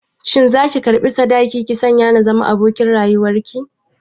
Shin za ki karɓi sadaki ki sanya na zama abokin rayuwar ki?